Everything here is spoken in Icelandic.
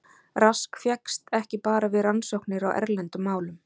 Rask fékkst ekki bara við rannsóknir á erlendum málum.